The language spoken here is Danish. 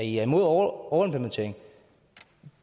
i er imod overimplementering